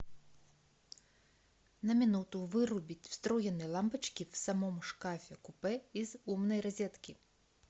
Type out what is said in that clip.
на минуту вырубить встроенные лампочки в самом шкафе купе из умной розетки